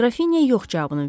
Qrafinya yox cavabını verdi.